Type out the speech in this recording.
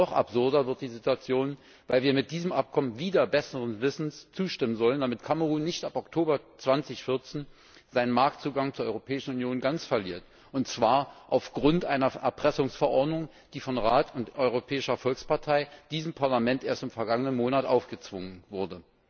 Und noch absurder wird die Situation, weil wir diesem Abkommen wider besseren Wissens zustimmen sollen, damit Kamerun nicht ab Oktober 2014 seinen Marktzugang zur Europäischen Union ganz verliert, und zwar aufgrund einer Erpressungsverordnung, die von Rat und Europäischer Volkspartei diesem Parlament erst im vergangenen Monat aufgezwungen wurde.